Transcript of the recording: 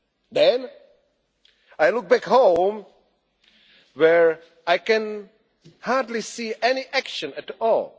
elections. Then I look back home where I can hardly see